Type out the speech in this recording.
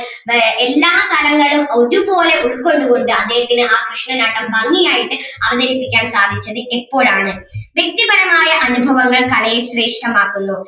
ആഹ് എല്ലാ തലങ്ങളും ഒരുപോലെ ഉൾക്കൊണ്ട് കൊണ്ട് അദ്ദേഹത്തിന് ആ കൃഷ്ണനാട്ടം ഭംഗി ആയിട്ട് അവതരിപ്പിക്കാൻ സാധിച്ചത് എപ്പോഴാണ് വ്യക്തിപരമായ അനുഭവങ്ങൾ കലയെ ശ്രേഷ്ഠമാക്കുന്നു.